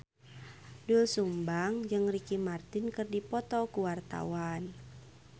Doel Sumbang jeung Ricky Martin keur dipoto ku wartawan